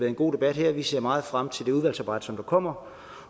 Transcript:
en god debat her vi ser meget frem til det udvalgsarbejde som der kommer